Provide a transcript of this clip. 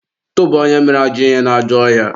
tụba onye ahụ mere ajọ ihe n'ajọ ọhịa!